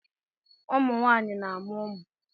ụmụ nwanyị na-amụ ụmụ